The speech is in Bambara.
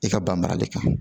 I ka ban marali kan